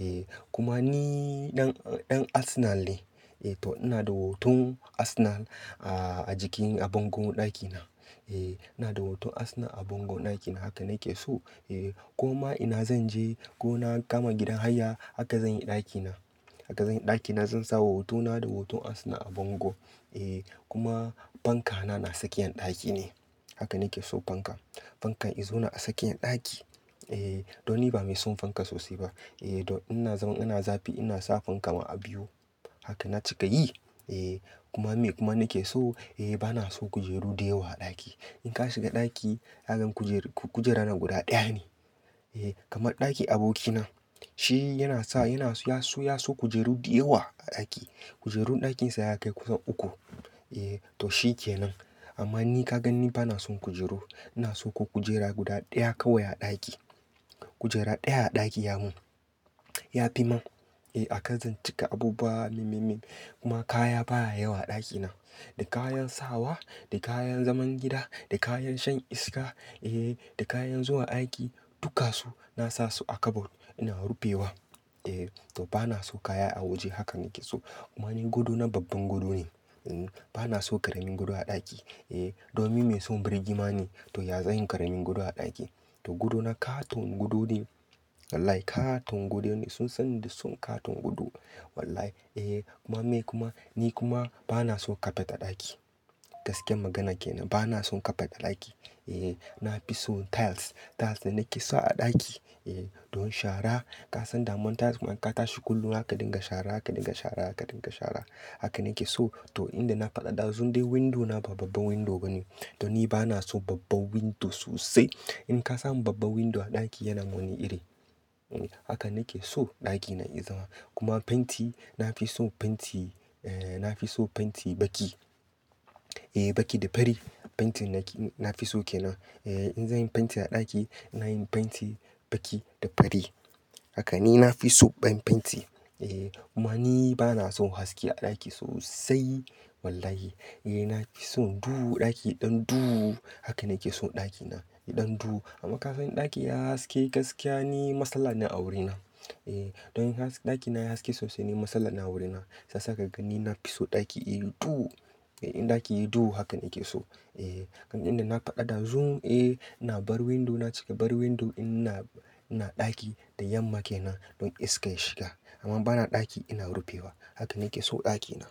Eh kuma ni ɗan, ɗan Arsenal ne. Eh to ina da hoton Arsenal a, a jikin a bango ɗakina. Eh ina da hoton Arsenal a bango ɗakina. Haka nake so. Eh ko ma ina zan je ko na gama gidan haya haka zan yi ɗakina. Haka zan yi ɗakina. Zan sawa hotona da hoton Arsenal a bango. Eh kuma fanka na, na tsakiyan ɗaki ne. Haka nake so fanka. Fankan izona a tsakiyar ɗaki. Eh don ni ba mai son fanka sosai ba. Eh don ina zaman ina zafi ina sa fanka ma har biyu. Haka na cika yi. Eh kuma me kuma nake so, eh bana so kujeru dayawa a ɗaki. In ka shiga ɗaki, ka gan kujer, kujera na guda ɗaya ne. Eh kamar ɗakin abokina. Shi yana sa, yana so ya so kujeru dayawa a ɗaki. Kujerun ɗakinsa ya kai kusan uku. Eh to shi kenan. Amma ni ka gan ni bana son kujeru. Ina so ko kujera guda ɗaya kawai a ɗaki. Kujera ɗaya a ɗaki ya mun, ya fi ma. Eh a kan zan cika abubuwa mimimim. Kuma kaya baya yawa a ɗakina. Da kayan sawa, da kayan zaman gida, da kayan shan iska, eh da kayan zuwa aiki, dukansu na sa su a kabod. Ina rufewa. Eh to bana so kaya a waje. Hakan nake so. Kuma ni gado na babban gado ne. Bana so ƙaramin gado a ɗaki. Eh domin ni mai son birgima ne. To ya zan yi ƙaramin gado a ɗaki. To gadona katon gado ne. Wallahi katon gado ne. Sun san ni da son ƙaton gado. Wallahi eh kuma me kuma, ni kuma bana so kafet a ɗaki. Gaskiyar magana kenan. Bana son kafet a ɗaki. Eh na fi so tiles. Tiles ne nake sawa a ɗaki. Eh don shara ka san daman tiles idan ka tashi kullum haka dinga shara, haka dinga shara, haka dinga shara. Haka nake so. To inda na faɗa ɗazun, dai window na ba babban window bane. To ni bana so babban window sosai. In ka samu babban window a ɗaki yana wani iri. Haka nake so ɗakina ya zama. Kuma fenti na fi so fenti, eh na fi so fenti baki. Eh baki da fari. Fentin nake, na fi so kenan. Eh in zan yi fenti a ɗaki, ina yin fenti baki da fari. Haka ne, na fi so garin fenti. Eh kuma ni bana son haske a ɗaki sosai. Wallahi. Eh na fi son duhu ɗaki ɗan duhu. Haka nake so ɗakina da ɗan duhu. Amma ka san in ɗaki yayi haske gaskiya ni matsala ne a wurina. Eh don in has, ɗakina ya haske sosai ne matsala na wurina. Shi yasa ka gani na fi so ɗaki yayi duhu. In ɗaki yayi duhu haka nake so. Eh kuma yanda na faɗa ɗazu, eh ina bar window na cika. Bar window ina, ina ɗaki da yamma kenan don iska ya shiga. Amma bana ɗaki ina rufewa. Haka nake so ɗakina.